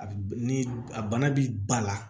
A bi ni a bana bi ba la